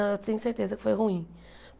Eu tenho certeza que foi ruim.